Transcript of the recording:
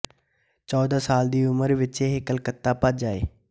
ਚੌਦਾਂ ਸਾਲ ਦੀ ਉਮਰ ਵਿੱਚ ਇਹ ਕਲਕੱਤਾ ਭੱਜ ਆਏ